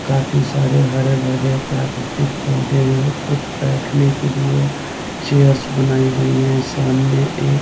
काफी सारे हरे-भरे प्राक्रतिक पौधे है कुछ बेठने के लिए चेयर्स बनाई गई हैं सामने एक--